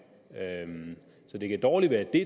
så det kan dårligt være det